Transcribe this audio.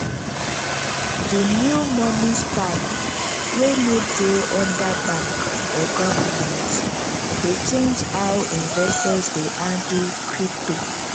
di new money style wey no dey under bank or government dey change how investors dey handle crypto.